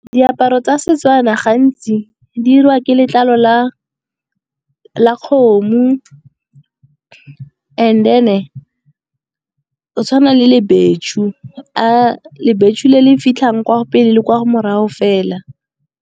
Diaparo tsa Setswana gantsi di dirwa ke letlalo la kgomo and then go tshwana le lebeshu, lebeshu le le fitlhang kwa pele le kwa morago fela.